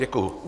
Děkuji.